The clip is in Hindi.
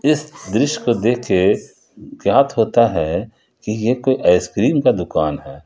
इस दृश्य को देख के ज्ञात होता है कि एक आइसक्रीम का दुकान है।